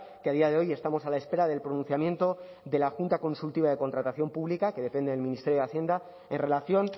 que a día de hoy estamos a la espera del pronunciamiento de la junta consultiva de contratación pública que depende del ministerio de hacienda en relación